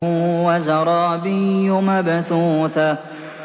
وَزَرَابِيُّ مَبْثُوثَةٌ